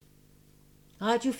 Radio 4